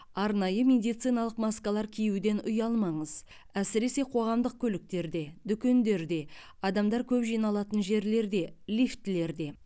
арнайы медициналық маскалар киюден ұялмаңыз әсіресе қоғамдық көліктерде дүкендерде адамдар көп жиналатын жерлерде лифтілерде